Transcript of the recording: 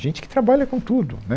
Gente que trabalha com tudo, né?